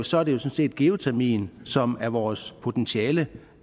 sådan set geotermien som er vores potentiale